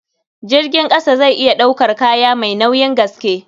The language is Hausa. Jirgin ƙasa zai iya ɗaukar kaya mai nauyin gaske.